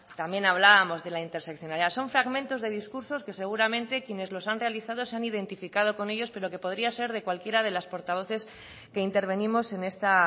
también hablábamos de la interseccionalidad son fragmentos que discursos que seguramente quienes los han realizado se han identificado con ellos pero que podría ser de cualquiera de las portavoces que intervenimos en esta